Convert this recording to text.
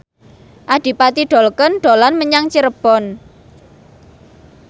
Adipati Dolken dolan menyang Cirebon